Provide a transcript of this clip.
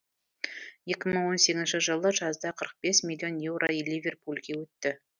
екі мың он сегізінші жылы жазда қырық бес миллион еуро ливерпульге өтті